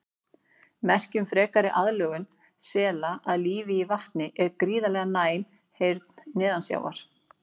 Merki um frekari aðlögun sela að lífi í vatni er gríðarlega næm heyrn neðansjávar.